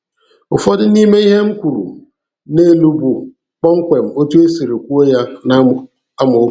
Ụfọdụ n'ime ihe m kwuru n'elu bụ kpọmkwem etu e siri kwuo ya n'amaokwu.